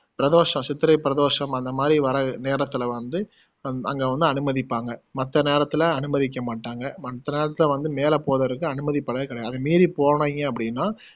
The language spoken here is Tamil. பிரதோஷம் சித்திரை பிரதோஷம் அந்த மாதிரி வர நேரத்துல வந்து அன் அங்க வந்து அனுமதிப்பாங்க மத்த நேரத்துல அனுமதிக்க மாட்டாங்க மத்த நேரத்துல வந்து மேல போவதற்கு அனுமதி கிடையாது அது மீறி போனிங்க அப்படின்னா